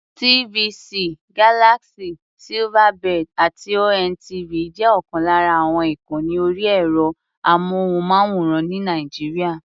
TVC, Galaxy, Silverbird àti ONTV jẹ́ ọ̀kan lára àwọn ìkànni orí ẹ̀rọ-amóhùnmáwòrán ní Nàìjíríà.